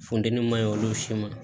Funtɛni ma ye olu si ma